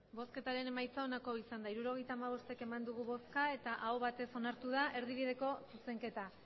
emandako botoak hirurogeita hamabost bai hirurogeita hamabost aho batez onartu da erdibideko zuzenketa